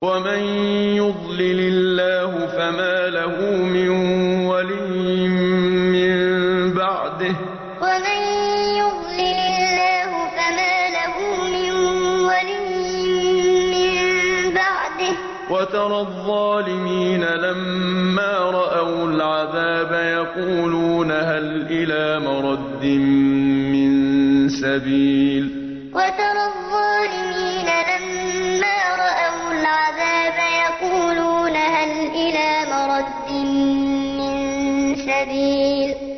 وَمَن يُضْلِلِ اللَّهُ فَمَا لَهُ مِن وَلِيٍّ مِّن بَعْدِهِ ۗ وَتَرَى الظَّالِمِينَ لَمَّا رَأَوُا الْعَذَابَ يَقُولُونَ هَلْ إِلَىٰ مَرَدٍّ مِّن سَبِيلٍ وَمَن يُضْلِلِ اللَّهُ فَمَا لَهُ مِن وَلِيٍّ مِّن بَعْدِهِ ۗ وَتَرَى الظَّالِمِينَ لَمَّا رَأَوُا الْعَذَابَ يَقُولُونَ هَلْ إِلَىٰ مَرَدٍّ مِّن سَبِيلٍ